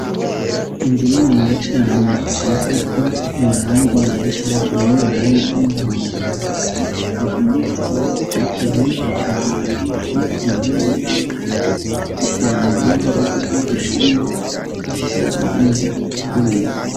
Inzu ni ni ya cane isizeko imaranga yera hejuru n'amaranga y'umuhondo hasi akaba amanitse ko ivyapa binshi cane biriko amabendera y'ibihugu vy'urwanda n'ibihugu vy'ubushinwa akaba harimwo umuryango uguruye.